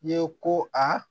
I ye ko a